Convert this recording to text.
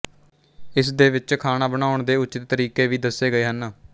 ਇਸ ਦੇ ਵਿੱਚ ਖਾਣਾ ਬਣਾਉਣ ਦੇ ਉਚਿਤ ਤਰੀਕੇ ਵੀ ਦੱਸੇ ਗਏ ਹਨ